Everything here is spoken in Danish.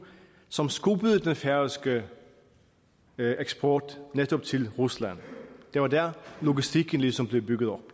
som skubbede den færøske eksport netop til rusland det var der logistikken ligesom blev bygget op